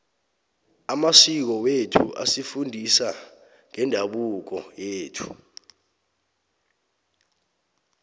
amasiko wethu asifundisa ngeendabuko yethu